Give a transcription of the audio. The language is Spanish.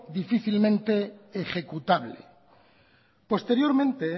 difícilmente ejecutable posteriormente